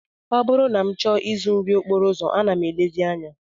Ọ bụrụ na m chọọ ịzụ nri okporo ụzọ, ana m elezi anya